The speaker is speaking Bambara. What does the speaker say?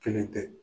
Kelen tɛ